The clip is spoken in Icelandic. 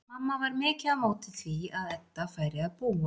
Mamma var mikið á móti því að Edda færi að búa.